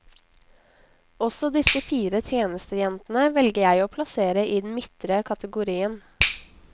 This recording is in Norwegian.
Også disse fire tjenestejentene velger jeg å plassere i den midtre kategorien.